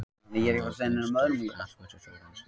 Hann hefur greint störf knattspyrnustjórans.